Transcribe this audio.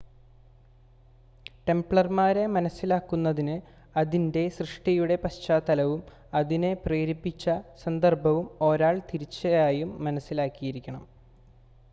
ടെംപ്ലർമാരെ മനസ്സിലാക്കുന്നതിന് അതിൻ്റെ സൃഷ്ടിയുടെ പശ്ചാത്തലവും അതിന് പ്രേരിപ്പിച്ച സന്ദർഭവും ഒരാൾ തീർച്ചയായും മനസ്സിലാക്കിയിരിക്കണം